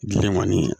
Bilen kɔni